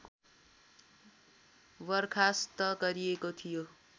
बर्खास्त गरिएको थियो